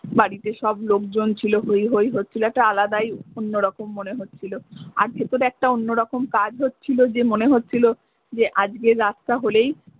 বাড়িতে সব লোকজন ছিলো হই হই হচ্ছিলো একটা আলাদাই অন্য রকম মনে হচ্ছিলো আর ভেতরে একটা অন্য রকম কাজ হচ্ছিলো যে মনে হচ্ছিলো যে আজকের রাতটা হলেই।